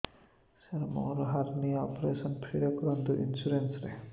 ସାର ମୋର hernia operation free ରେ କରନ୍ତୁ ଇନ୍ସୁରେନ୍ସ ରେ